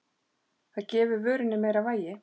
Það gefi vörunni meira vægi.